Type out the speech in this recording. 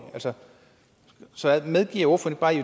så medgiver ordføreren